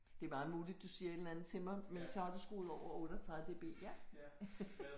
Det er meget muligt du siger et eller andet til mig men så har du skruet over 38 dB ja